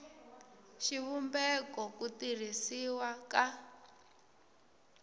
xivumbeko n ku tirhisiwa ka